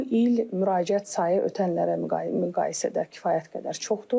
Bu il müraciət sayı ötən illərlə müqayisədə kifayət qədər çoxdur.